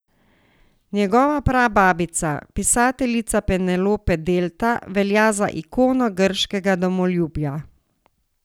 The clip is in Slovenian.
Njegova prababica, pisateljica Penelope Delta, velja za ikono grškega domoljubja.